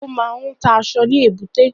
Ó máa ń ta aṣọ ní èbúté